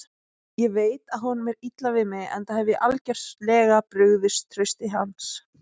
Ég veit að honum er illa við mig, enda hef ég algjörlega brugðist trausti hans.